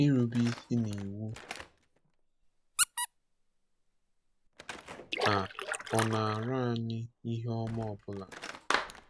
Ịrube isi n’iwu a ọ na-ara anyị ihe ọma ọ bụla?